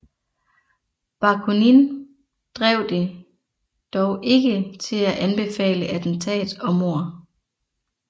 Bakunin drev det dog ikke til at anbefale attentat og mord